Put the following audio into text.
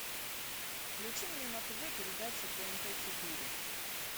включи мне на тв передачу тнт четыре